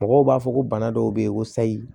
Mɔgɔw b'a fɔ ko bana dɔw bɛ yen ko sayi